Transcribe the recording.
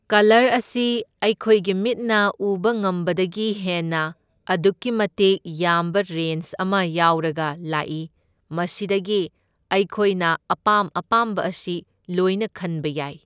Colour ꯑꯁꯤ ꯑꯩꯈꯣꯏꯒꯤ ꯃꯤꯠꯅ ꯎꯕ ꯉꯝꯕꯗꯒꯤ ꯍꯦꯟꯅ ꯑꯗꯨꯛꯀꯤ ꯃꯇꯤꯛ ꯌꯥꯝꯕ ꯔꯦꯟꯁ ꯑꯃ ꯌꯥꯎꯔꯒ ꯂꯥꯛꯢ, ꯃꯁꯤꯗꯒꯤ ꯑꯩꯈꯣꯏꯅ ꯑꯄꯥꯝ ꯑꯄꯥꯝꯕ ꯑꯁꯤ ꯂꯣꯏꯅ ꯈꯟꯕ ꯌꯥꯏ꯫